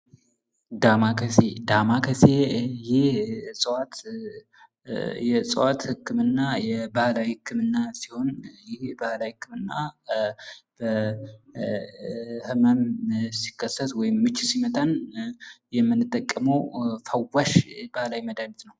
ዳማከሴ ፦ ዳማከሴ ይህ እጽዋት የእጽዋት ህክምና ፤ የባህላዊ ህክምና ሲሆን ይህ የባህላዊ ህክምና ህመም ሲከሰት ወይም ምች ሲመታን የምንጠቀመው ፈዋሽ ባህላዊ መድሀኒት ነው ።